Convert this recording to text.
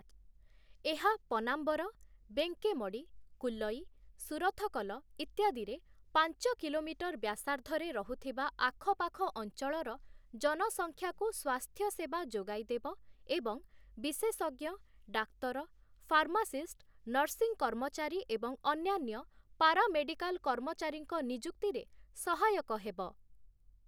ଏହା ପନାମ୍ବର, ବେଙ୍କେମଡ଼ି, କୁଲଇ, ସୁରଥକଲ ଇତ୍ୟାଦିରେ ପାଞ୍ଚ କିଲୋମିଟର ବ୍ୟାସାର୍ଦ୍ଧରେ ରହୁଥିବା ଆଖପାଖ ଅଞ୍ଚଳର ଜନସଖ୍ୟାକୁ ସ୍ୱାସ୍ଥ୍ୟସେବା ଯୋଗାଇ ଦେବ ଏବଂ ବିଶେଷଜ୍ଞ, ଡାକ୍ତର, ଫାର୍ମାସିଷ୍ଟ, ନର୍ସିଂ କର୍ମଚାରୀ ଏବଂ ଅନ୍ୟାନ୍ୟ ପାରା ମେଡିକାଲ କର୍ମଚାରୀଙ୍କ ନିଯୁକ୍ତିରେ ସହାୟକ ହେବ ।